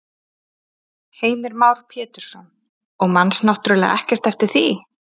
Heimir Már Pétursson: Og manst náttúrulega ekkert eftir því?